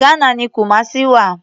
Ghana ni Kumasi wà.